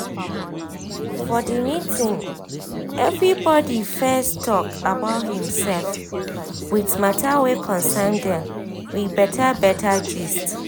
for the meeting everybody fess talk about him sef with mata wey concern dem with beta beta gist